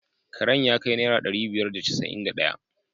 Karen ya kai naira dari biyar da casa’in da daya.